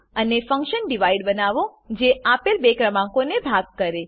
અને function divide બનાવો જે આપેલ બે ક્રમાંકોને ભાગ કરે